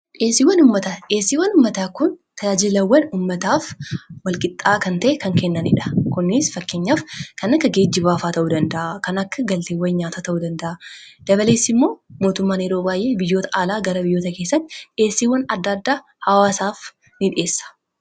Dhi'eessiiwwan uummataa. dhi'eessiiwwan ummataa kun tajaajilawwan uummataaf walqixxaa kan ta'e kan kennaniidha. Kunis fakkeenyaaf kan akka geejjibaa ta'uu danda'a, kan akka galteewwan nyaataa ta'uu danda'a, dabalees immoo mootummaan yeroo baay'ee biyyoota alaa gara biyyoota keessatti dhi'eessiiwwan adda addaa hawwaasaaf ni dhi'eessa.